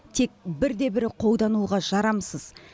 тек бірде бірі қолдануға жарамсыз